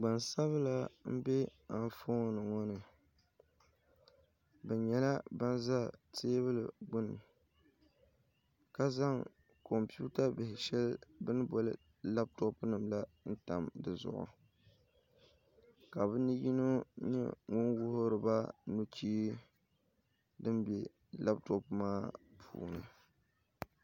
gbansabila m-be anfooni ŋɔ ni bɛ nyɛla ban za teebuli gbuni ka zaŋ kɔmputa bihi shɛli bɛ ni boli lapitɔpunima la n-tam bɛ tooni ka bɛ ni yino nyɛ ŋun wuhiri ba nuchee din be lapitɔpu maa puuni